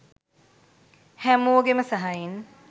හැමෝගෙම සහයෙන්